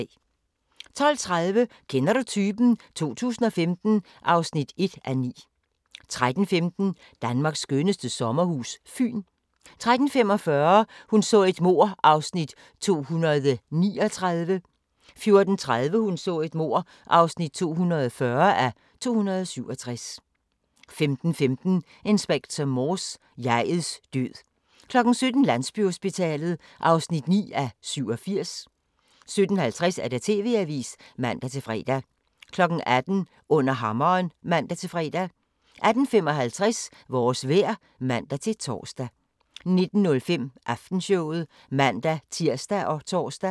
12:30: Kender du typen? 2015 (1:9) 13:15: Danmarks skønneste sommerhus – Fyn 13:45: Hun så et mord (239:267) 14:30: Hun så et mord (240:267) 15:15: Inspector Morse: Jeg'ets død 17:00: Landsbyhospitalet (9:87) 17:50: TV-avisen (man-fre) 18:00: Under hammeren (man-fre) 18:55: Vores vejr (man-tor) 19:05: Aftenshowet (man-tir og tor)